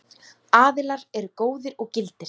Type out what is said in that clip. Aðilar eru góðir og gildir.